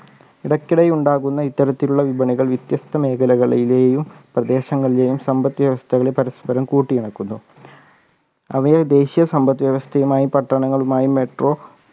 ഇടക്കിടെ ഉണ്ടാകുന്ന ഇത്തരത്തിലുള്ള വിപണികൾ വിത്യസ്ത മേഖലകളിലെയും പ്രദേശങ്ങളിലെയും സമ്പത്ത് വ്യവസ്ഥകളെ പരസ്‌പരം കൂട്ടി ഇണക്കുന്നു അവയെ ദേശീയ സമ്പത്ത് വ്യവസ്ഥയുമായി പട്ടണങ്ങളുമായി metro